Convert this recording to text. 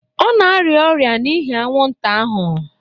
Ọ na-arịa ọrịa n'ihi anwụnta ahụ